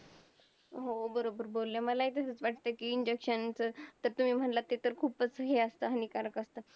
हा पहाडा म्हणजेच माशाचा पहाडा म्हणून ओळखलायका माशाचा पहाडा म्हणलतर या जो मीनाक्षी नगर म्हणून ओळखला जातो या area तील फक्त तीन घर जात एक कोळी घर दोन आदिवासी घर असा यांचा समावेश होता.